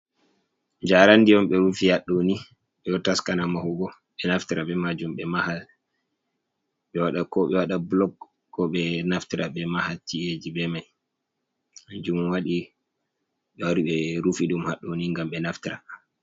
Jaarandi on ɓe rufi hadɗo ni, ɓe ɗo taskana mahugo, be naftira be majum ɓe maha, ɓe waɗa ko ɓe waɗa bulok ko ɓe naftira ɓe maha chi’eji be mai, kanjum waɗi ɓe wari ɓe rufi ɗum hadɗoni ngam ɓe naftira.